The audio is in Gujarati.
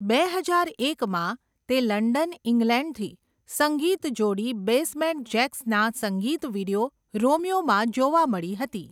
બે હજાર એકમાં, તે લંડન, ઇંગ્લેન્ડથી સંગીત જોડી બેસમેન્ટ જેક્સના સંગીત વિડીઓ 'રોમિયો'માં જોવા મળી હતી.